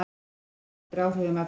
Ölvaður og undir áhrifum efna